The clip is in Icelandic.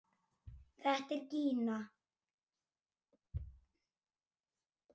Þetta er Gína!